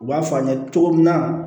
U b'a fɔ an ɲɛna cogo min na